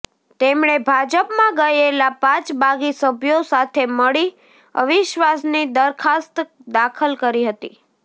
તેમણે ભાજપમાં ગયેલા પાંચ બાગી સભ્યો સાથે મળી અવિશ્વાસની દરખાસ્ત દાખલ કરી હતી